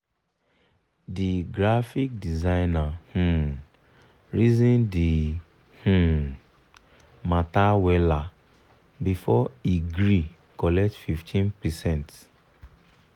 the graphic designer um reason the um matter weller before e gree collect 15%